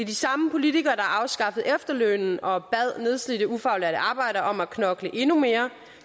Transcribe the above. de samme politikere der afskaffede efterlønnen og bad nedslidte ufaglærte arbejdere om at knokle endnu mere